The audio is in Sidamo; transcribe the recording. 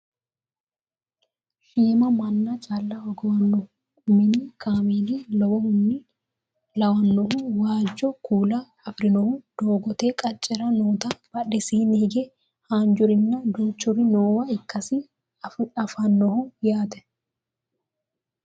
Shiima manna calla hogowannohu mini kameela lawannohu waajjo kuula afirinohu doogote qaccera noota badhesiinni hige haanjurinna duuchuri noowa ikkasi anfanniho yaate